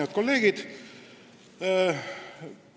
Head kolleegid!